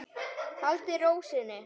Halda ró sinni.